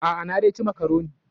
A'a, na dai ci makaroni.